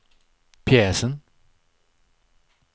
pjäsen